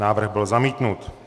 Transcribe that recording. Návrh byl zamítnut.